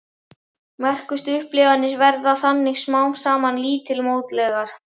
Merkustu upplifanir verða þannig smám saman lítilmótlegar.